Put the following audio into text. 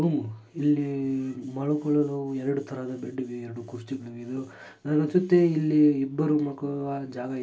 ಹು ಇಲ್ಲಿ ಮಲ್ಕೊಳ್ಳೋದು ಎರಡ್ ತರಾದ್ ಬೆಡ್ ಇವೆ ಎರಡ್ ಕುರ್ಚಿಗಳ್ ಇವೆ ನಂಗ್ ಅನ್ಸುತ್ತೆ ಇಲ್ಲಿ ಇಬ್ರು ಮಕ್ಳು ಜಾಗ --